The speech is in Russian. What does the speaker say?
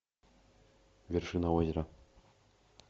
вершина озера